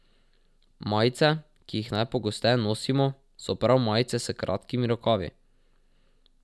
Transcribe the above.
Majice, ki jih najpogosteje nosimo, so prav majice s kratkimi rokavi.